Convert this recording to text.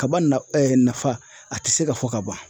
Kaba na nafa a tɛ se ka fɔ ka ban.